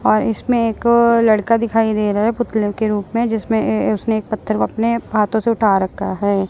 और इसमें एक लड़का दिखाई दे रहा है पुतले के रूप में जिसमें उसने एक पत्थर को उसने अपने हाथों से उठा रखा है।